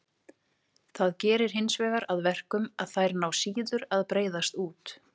Það gerir hinsvegar að verkum að þær ná síður að breiðast út.